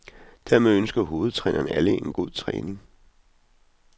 Dermed ønsker hovedtræneren alle en god træning.